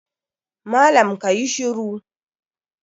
Malam ka yi shiru!